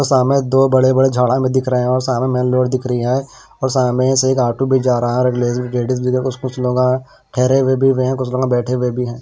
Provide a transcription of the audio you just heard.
सामने दो बड़े बड़े झाड़ें में दिख रहे हैं और सामने मेन रोड दिख रही है और सामने से एक ऑटो भी जा रहा है लेडीज़ कुछ लोग ठहरे हुए भी है कुछ लोग बैठे हुए भी हैं।